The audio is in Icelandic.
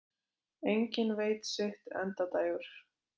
Enginn veit sitt endadægur.